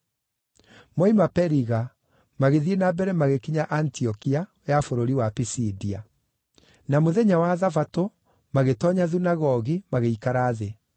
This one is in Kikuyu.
Moima Periga, magĩthiĩ na mbere magĩkinya Antiokia ya bũrũri wa Pisidia. Na mũthenya wa Thabatũ magĩtoonya thunagogi magĩikara thĩ.